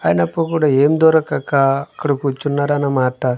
అయినప్పుడు ఏం దొరకక అక్కడ కూర్చున్నారన్నమాట.